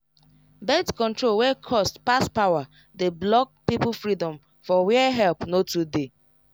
birth control wey cost pass power dey block people freedom for where help no too dey